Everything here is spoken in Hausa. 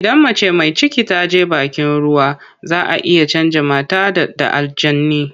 Idan mace mai ciki ta je bakin ruwa za a iya canja mata ɗa da aljani.